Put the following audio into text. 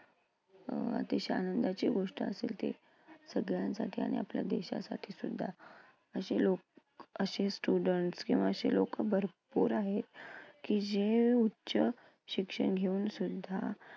अं अतिशय आनंदाची गोष्ट असेल ती. सगळ्यांसाठी आणि आपल्या देशासाठी सुद्धा. अशे लोक, अशे students किंवा अशे लोकं भरपूर आहेत की जे उच्च शिक्षण घेऊनसुद्धा